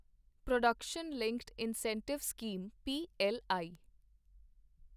production linked incentive scheme PLI